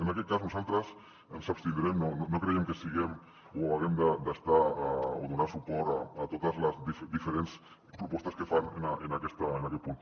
en aquest cas nosaltres ens abstindrem no creiem que siguem o haguem d’estar o donar suport a totes les diferents propostes que fan en aquest punt